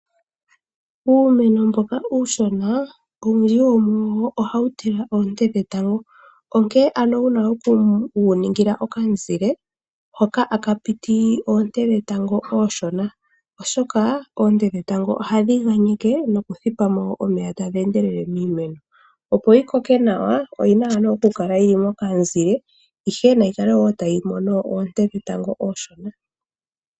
Uumeno mboka uushona owundji wo muwo oha wu tila oonte dhe tango onkee ano wuna oku we ningila oka mu zile hoka a ka piti oonte dhe tango ooshona oshoka oonte dhe tango oha dhi aneke noku thipa mo omeya tadhi endele miimeno opo yi koke Nawa nayi kale tayi mono oonte dhe tango ooshona opo yi koke Nawa o yina oku kala yili moka mu zile yo yikale tayi mono oonte dhetango ooshona .